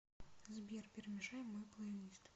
сбер перемешай мой плейлист